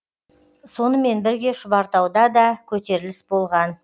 сонымен бірге шұбартауда да көтеріліс болған